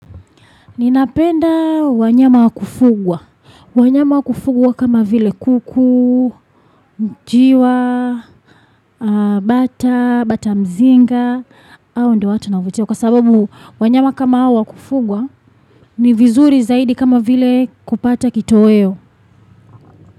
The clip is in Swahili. Ninapenda wanyama wakufugwa. Wanyama wakufugwa kama vile kuku, mjiwa, bata, bata mzinga, au ndewatu na uvutio. Kwa sababu wanyama kama wakufugwa ni vizuri zaidi kama vile kupata kito weo.